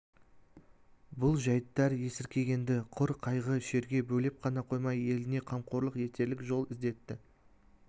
бұл жәйттер есіркегенді құр қайғы шерге бөлеп қана қоймай еліне қамқорлық етерлік жол іздетті